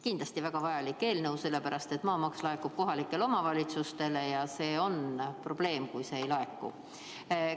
Kindlasti väga vajalik eelnõu, sellepärast et maamaks laekub kohalikele omavalitsustele ja see on probleem, kui seda ei laeku.